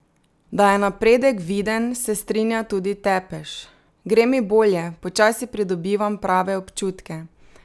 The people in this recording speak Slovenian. Da je napredek viden, se strinja tudi Tepeš: "Gre mi bolje, počasi pridobivam prave občutke.